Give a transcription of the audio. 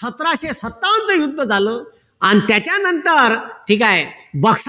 सतराशे सत्तावन्नच युद्ध झालं अन त्याच्या नंतर ठीक आहे बक्सर